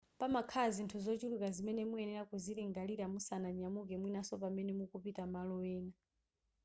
pamakhala zinthu zochuluka zimene muyenera kuzilingalira musananyamuke mwinaso pamene mukupita malo ena